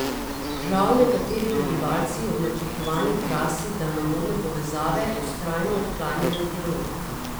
Žal nekateri prebivalci ob načrtovani trasi daljnovodne povezave vztrajno odklanjajo dialog.